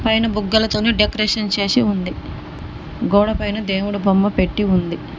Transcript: పైన బుగ్గల తోని డెకరేషన్ చేసి ఉంది గోడ పైన దేవుడు బొమ్మ పెట్టి ఉంది.